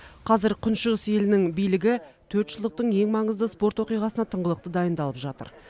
қазір күншығыс елінің билігі төртжылдықтың ең маңызды спорт оқиғасына тыңғылықты дайындалып жатыр